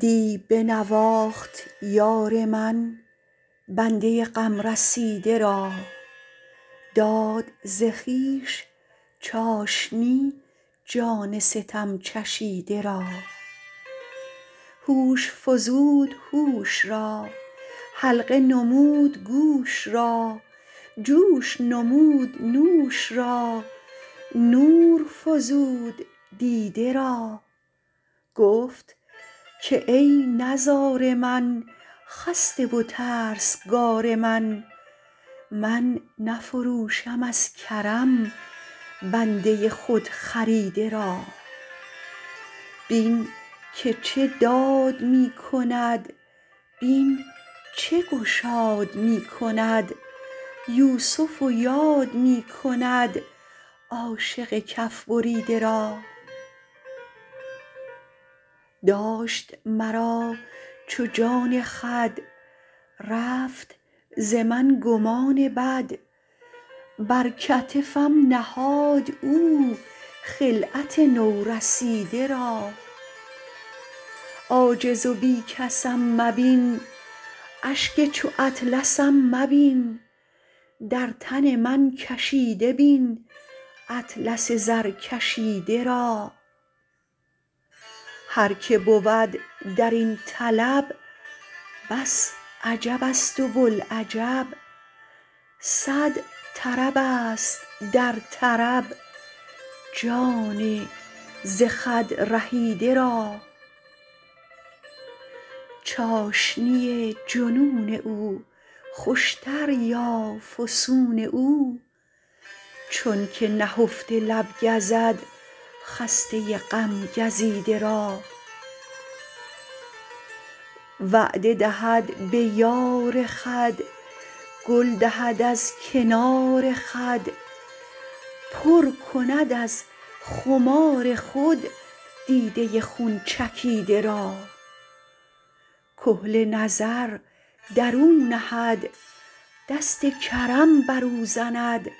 دی بنواخت یار من بنده غم رسیده را داد ز خویش چاشنی جان ستم چشیده را هوش فزود هوش را حلقه نمود گوش را جوش نمود نوش را نور فزود دیده را گفت که ای نزار من خسته و ترسگار من من نفروشم از کرم بنده خودخریده را بین که چه داد می کند بین چه گشاد می کند یوسف یاد می کند عاشق کف بریده را داشت مرا چو جان خود رفت ز من گمان بد بر کتفم نهاد او خلعت نورسیده را عاجز و بی کسم مبین اشک چو اطلسم مبین در تن من کشیده بین اطلس زرکشیده را هر که بود در این طلب بس عجبست و بوالعجب صد طربست در طرب جان ز خود رهیده را چاشنی جنون او خوشتر یا فسون او چونک نهفته لب گزد خسته غم گزیده را وعده دهد به یار خود گل دهد از کنار خود پر کند از خمار خود دیده خون چکیده را کحل نظر در او نهد دست کرم بر او زند